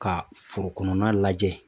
Ka foro kɔnɔna lajɛ